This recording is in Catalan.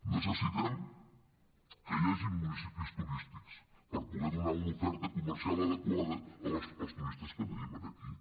necessitem que hi hagin municipis turístics per poder donar una oferta comercial adequada als turistes que tenim aquí